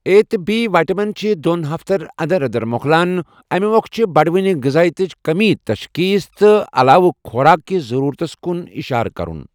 A تہٕ B vitamin چھِ دۄن ہفتن انٛدر انٛدر مۄکلان، امہِ مۄکھٕ چھےٚ بڑوٕنۍ غذٲیتٕچ کمی تشخیص تہٕ علاوٕ خۄراک کس ضرورتس کُن اِشارٕ کرُن۔